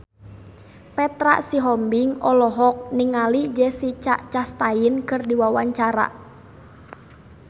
Petra Sihombing olohok ningali Jessica Chastain keur diwawancara